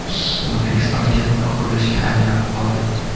O‘zbekiston katta qurilishga aylanib qoldi.